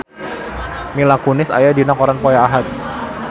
Mila Kunis aya dina koran poe Ahad